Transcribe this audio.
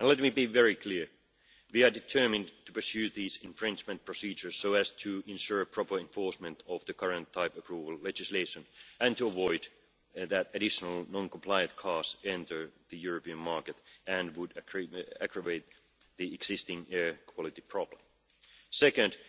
Let me be very clear we are determined to pursue these infringement procedures so as to ensure proper enforcement of the current type-approval legislation and to avoid additional non-compliant cars entering the European market, which would aggravate the existing air quality problem. Second, regarding